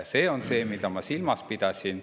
See on see, mida ma silmas pidasin.